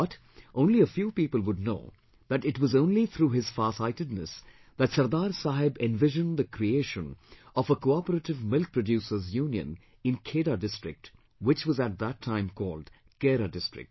But, only a few people would know that it was only through his farsightedness that Sardar Saheb envisioned the creation of a Cooperative Milk Producers Union in Khera district, which was at that time called Kaira district